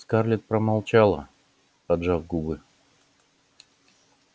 скарлетт промолчала поджав губы